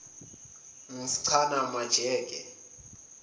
nks chana majake